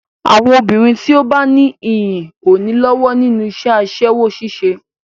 Àwọn obìnrin tí ó bá ní iyì ò ní lọ́wọ́ nínú iṣẹ́ aṣẹ́wó ṣíṣe.